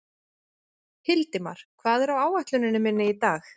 Hildimar, hvað er á áætluninni minni í dag?